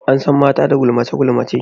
An san mata da gulmace gulmace.